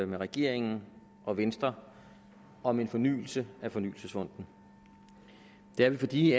med regeringen og venstre om en fornyelse af fornyelsesfonden det er vi fordi